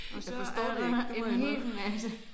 Jeg forstår det ikke. Det må jeg indrømme